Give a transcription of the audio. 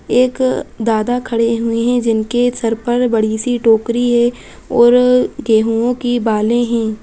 एक दादा खड़े हुए हैं जिनके सिर पर बड़ी सी टोकरी है और गेहूवो की बाले है ।